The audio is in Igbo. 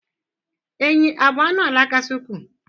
enyí a bụ anụ ala kasị ukwuu?